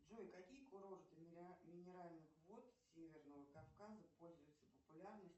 джой какие курорты минеральных вод северного кавказа пользуются популярностью